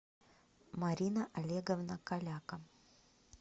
марина олеговна каляка